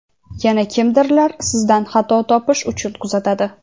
yana kimdirlar sizdan xato topish uchun kuzatadi.